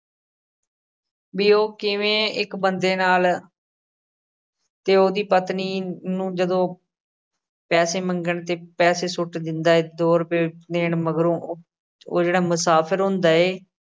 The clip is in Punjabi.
ਵੀ ਉਹ ਕਿਵੇਂ ਇੱਕ ਬੰਦੇ ਨਾਲ ਤੇ ਉਹਦੀ ਪਤਨੀ ਨੂੰ ਜਦੋਂ ਪੈਸੇ ਮੰਗਣ ਤੇ ਪੈਸੇ ਸੁੱਟ ਦਿੰਦਾ ਏ, ਦੋ ਰੁਪਏ ਦੇਣ ਮਗਰੋਂ, ਉਹ ਜਿਹੜਾ ਮੁਸਾਫਿਰ ਹੁੰਦਾ ਏ